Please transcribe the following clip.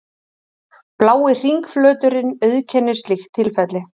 blái hringflöturinn auðkennir slíkt tilfelli